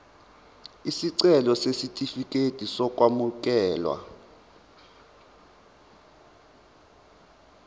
isicelo sesitifikedi sokwamukeleka